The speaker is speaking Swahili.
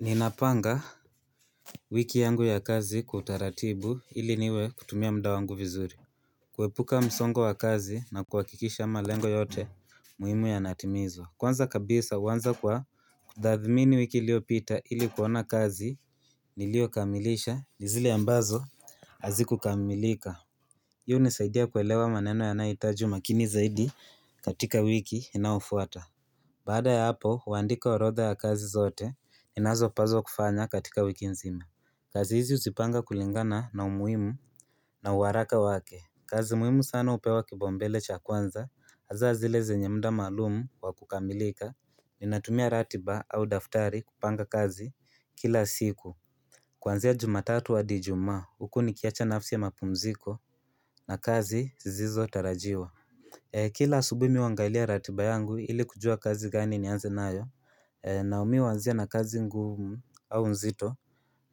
Ninapanga wiki yangu ya kazi kwa utaratibu ili niweze kutumia muda wangu vizuri kuepuka msongo wa kazi na kuhakikisha malengo yote muhimu yanaatimizwa Kwanza kabisa uanza kwa dadhimini wiki iliyopita ili kuona kazi nilio kamilisha ni zile ambazo azikukamilika hiyo unisaidia kuelewa maneno yanayoitaji umakini zaidi katika wiki inafuata Baada ya hapo, uandika orodha ya kazi zote, ninazo paswa kufanya katika wiki nzima. Kazi hizi uzipanga kulingana na umuhimu na uwaraka wake. Kazi muhimu sana upewa kipaumbele cha kwanza, hasa zile zenye muda maalumu wa kukamilika, ninatumia ratiba au daftari kupanga kazi kila siku. Kwanzia jumatatu wa ijumaa huku nikiacha nafasi ya mapumziko na kazi zizo tarajiwa. Kila asubuhi mimi huangalia ratiba yangu ili kujua kazi gani nianze nayo nami huanzia na kazi ngumu au nzito